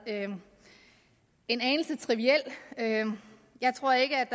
en anelse triviel jeg tror ikke